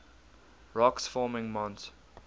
rocks forming mont